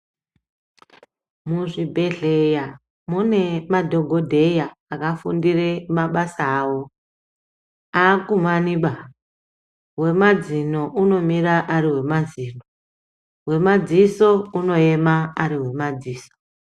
Muzvibhedlera mune madhogodheya akafundire mabasa awo ,aakumani baa wemazino unomira ari wemazino wemadziso unoema ari wemadziso .